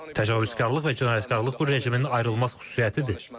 Təcavüzkarlıq və cinayətkarlıq bu rejimin ayrılmaz xüsusiyyətidir.